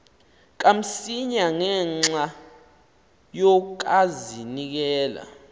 kamsinya ngenxa yokazinikela